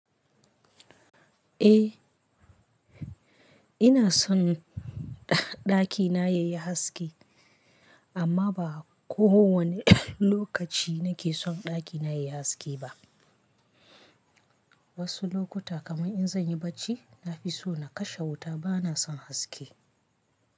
Eh, ina son ɗaki na yayi haske amma ba kowane lokaci nake son ɗaki na yayi haske ba. Wasu lokuta kamar in zan yi barci, na fi so na kashe wuta ba na son haske.